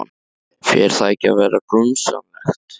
Fer það ekki að verða grunsamlegt?